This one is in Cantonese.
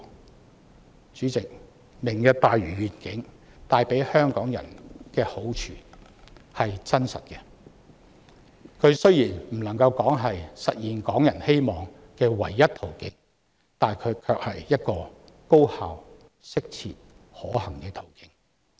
代理主席，"明日大嶼願景"帶給香港人真確的好處，雖然不能說是實現港人希望的唯一途徑，卻是一個高效、適切、可行的途徑。